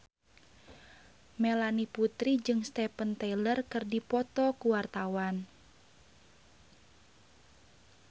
Melanie Putri jeung Steven Tyler keur dipoto ku wartawan